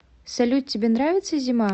салют тебе нравится зима